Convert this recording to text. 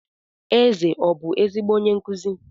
Eze ọbụ ezigbo onye nkụzi?